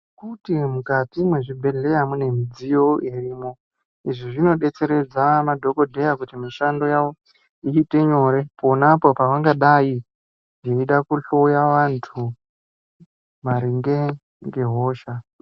Futi mukati mwezvibhedhleya mune midziyo irimwo. Izvi zvinobetseredza madhogodheya kuti mishando yavo iite nyoye, ponapo pavangadai veida kuhloya vantu maringe ngehosha.